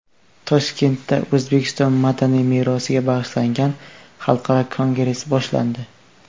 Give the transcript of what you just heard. Toshkentda O‘zbekiston madaniy merosiga bag‘ishlangan xalqaro kongress boshlandi.